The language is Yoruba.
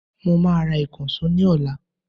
Máa ra ìkànsó ní ọ̀la